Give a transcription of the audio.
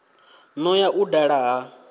no ya u dala ha